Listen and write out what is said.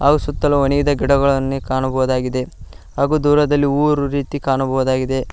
ಹಾಗೂ ಸುತ್ತಲೂ ಒಣಗಿದ ಗಿಡಗಳನ್ನು ಕಾಣಬಹುದಾಗಿದೆ ಹಾಗೂ ದೂರದಲ್ಲಿ ಊರಿರುವ ರೀತಿ ಕಾಣಬಹುದಾಗಿದೆ.